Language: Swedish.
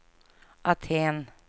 Aten